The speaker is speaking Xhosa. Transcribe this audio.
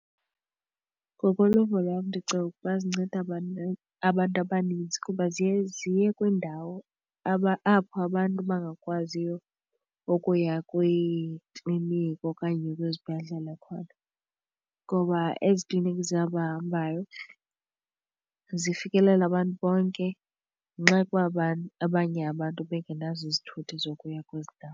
Ngokoluvo lwam ndicinga ukuba zinceda abantu abantu abaninzi kuba ziye ziye kwindawo apho abantu bangakwaziyo ukuya kwiikliniki okanye kwizibhedlele khona, ngoba ezi klinikhi zihamba zihambayo zifikelela abantu bonke ngenxa yokuba abanye abantu bengenazo izithuthi zokuya kwezi ndawo.